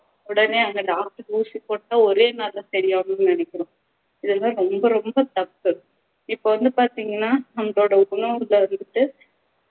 உடனே அங்க doctor ஊசி போட்டா ஒரே நாள்ல சரியாகுன்னு நினைக்குறோம் இதெல்லாம் ரொம்ப ரொம்ப தப்பு இப்போ வந்து பாத்திங்கண்ணா நம்மளோட உணவுல வந்துட்டு